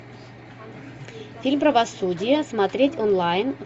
фильм правосудие смотреть онлайн